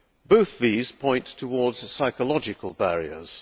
Both these point towards psychological barriers.